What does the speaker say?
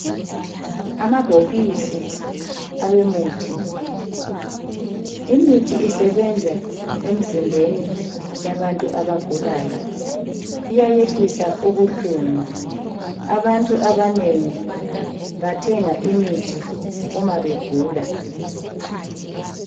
Amabhokisi emithi. Imithi isebenza emzimbeni yabantu abagulayo, iyayehlisa ubuhlungu. Abantu abanengi bathenga imithi uma begula.